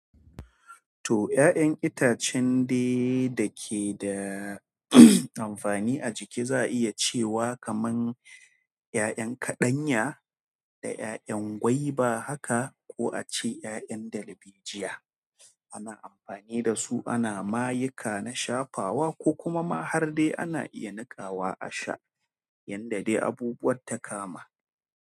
To 'ya'yan itacen dai da ke da amfani a jiki za'a iya cewa kaman 'ya'yan kaɗanya da 'ya'yan gwaiba haka ko a ce 'ya'yan darbejiya ana amfani da su ana mayuka na shafawa ko kuma ma har dai ana iya niƙawa a sha yanda dai abubuwan ta kama.